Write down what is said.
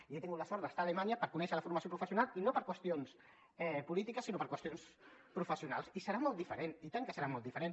i he tingut la sort d’estar a alemanya per conèixer la formació professional i no per qüestions polítiques sinó per qüestions professionals i serà molt diferent i tant que serà molt diferent